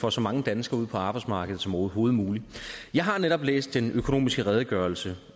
får så mange danskere ud på arbejdsmarkedet som overhovedet muligt jeg har netop læst den økonomiske redegørelse